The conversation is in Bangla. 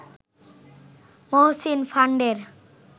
মহসীন ফান্ডের